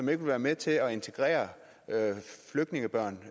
vil være med til at integrere flygtningebørn